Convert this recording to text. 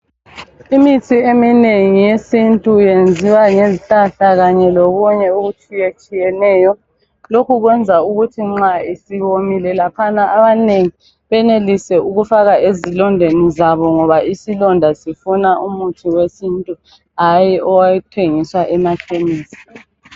Imithi eminengi yesintu yenziwa ngezihlahla kanye lokunye okutshiyeneyo, lokhu kwenza ukuthi nxa isiwomile laphana abanengi benelise ukufaka ezilondeni zabo ngoba isilonda sifuna umuthi wesintu hayi othengiswa emakhemisi.